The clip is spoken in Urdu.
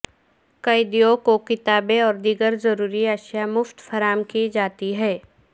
قیدیوں کو کتابیں اور دیگر ضروری اشیا مفت فراہم کی جاتی ہیں